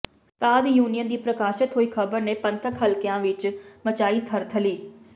ਸਾਧ ਯੂਨੀਅਨ ਦੀ ਪ੍ਰਕਾਸ਼ਤ ਹੋਈ ਖ਼ਬਰ ਨੇ ਪੰਥਕ ਹਲਕਿਆਂ ਵਿਚ ਮਚਾਈ ਤਰਥੱਲੀ